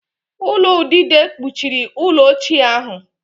Ulo udide kpuchiri ụlọ ochie ahụ